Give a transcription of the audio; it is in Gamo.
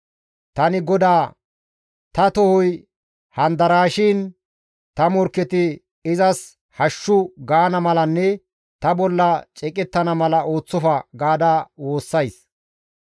Tani GODAA, «Ta tohoy handaraashin, ta morkketi ‹Izas hashshu› gaana malanne ta bolla ceeqettana mala ooththofa» gaada woossays.